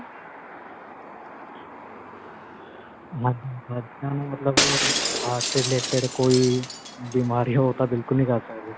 ਮਤਲਬ heart related ਕੋਈ ਬਿਮਾਰੀ ਹੋ ਤਾਂ ਬਿਲਕੁਲ ਨਹੀਂ ਜਾ ਸਕਦੇ.